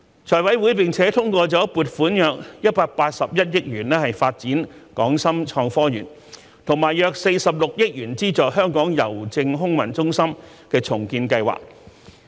財委會並通過了撥款約181億元發展港深創科園，以及約46億元資助香港郵政空郵中心的重建計劃。